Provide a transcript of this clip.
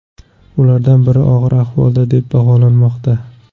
Ulardan biri og‘ir ahvolda deb baholanmoqda.